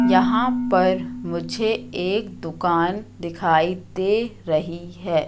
यहां पर मुझे एक दुकान दिखाई दे रही है।